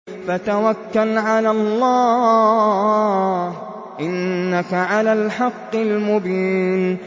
فَتَوَكَّلْ عَلَى اللَّهِ ۖ إِنَّكَ عَلَى الْحَقِّ الْمُبِينِ